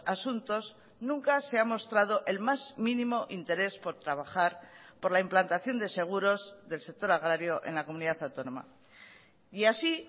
asuntos nunca se ha mostrado el más mínimo interés por trabajar por la implantación de seguros del sector agrario en la comunidad autónoma y así